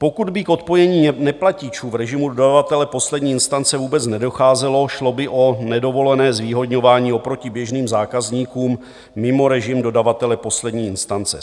Pokud by k odpojení neplatičů v režimu dodavatele poslední instance vůbec nedocházelo, šlo by o nedovolené zvýhodňování oproti běžným zákazníkům mimo režim dodavatele poslední instance.